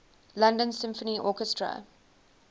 london symphony orchestra